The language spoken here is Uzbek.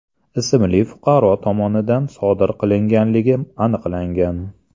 ismli fuqaro tomonidan sodir qilinganligi aniqlangan.